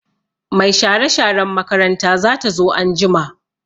Mai share-sharen makaranta zata zo anjima.